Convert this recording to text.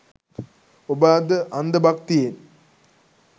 ඔබ අද අන්ධ භක්තියෙන්